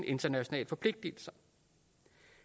internationale forpligtelser